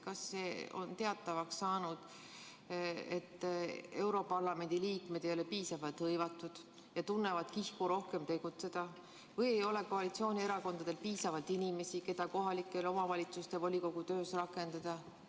Kas see on teatavaks saanud, et europarlamendi liikmed ei ole piisavalt hõivatud ja tunnevad kihku rohkem tegutseda, või ei ole koalitsioonierakondadel piisavalt inimesi, keda kohalike omavalitsuste volikogu töös rakendada?